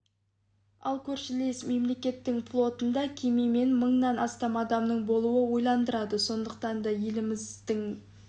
ал көршілес мемлекеттің флотында кеме мен мыңнан астам адамның болуы ойландырады сондықтан да еліміздің мен